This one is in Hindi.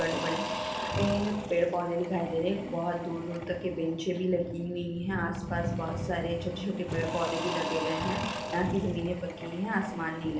बड़े-बड़े ए ए पेड़-पौधे दिखाई दे रहे है बोहत दूर दूर तक के बेंच भी लगी हुइ है आसपास बहोत सारे छोटे-छोटे पेड़-पौधे भी लग गए है यहा की जमीने पक्की हैआसमान नीला है।